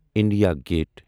India gate